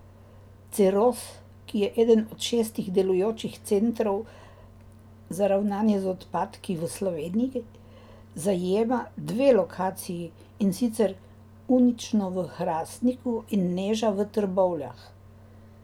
Ceroz, ki je eden od šestih delujočih centrov za ravnanje z odpadki v Sloveniji, zajema dve lokaciji, in sicer Unično v Hrastniku in Neža v Trbovljah.